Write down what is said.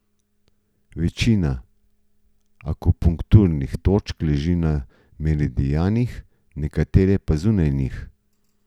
Večina akupunkturnih točk leži na meridijanih, nekatere pa zunaj njih.